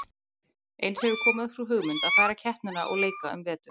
Eins hefur komið upp sú hugmynd að færa keppnina og leika um vetur.